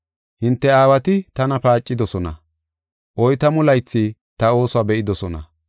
Hinte aawati tana paacidosona; oytamu laythi ta oosuwa be7idosona.